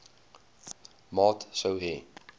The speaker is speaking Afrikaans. maat sou hê